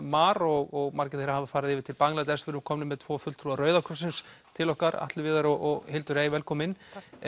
mar og margir þeirra hafa farið yfir til Bangladesh við erum komin hér með tvo fulltrúa Rauða krossins til okkar Atli Viðar og Hildur velkomin